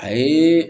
A ye